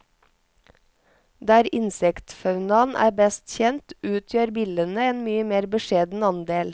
Der insektfaunaen er best kjent, utgjør billene en mye mer beskjeden andel.